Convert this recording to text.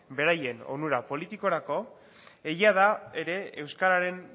beraien onura politikorako egia da ere euskararen